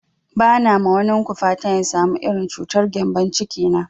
Ba na ma wanin ku fatan ya samu irin cutar gembon ciki na